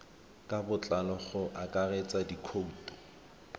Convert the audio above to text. ka botlalo go akaretsa dikhoutu